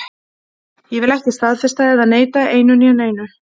Ég vil ekki staðfesta eða neita einu né neinu.